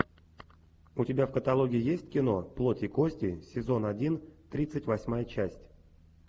у тебя в каталоге есть кино плоть и кости сезон один тридцать восьмая часть